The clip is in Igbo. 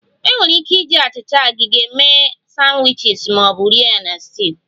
Enwere ike iji achịcha agege mee sandwiches ma ọ bụ rie ya na stew